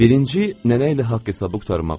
Birinci nənə ilə haqq hesabı qurtarmaq üçün.